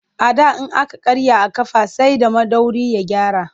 A da in aka karya a ƙafa sai da maiɗori ya gyara.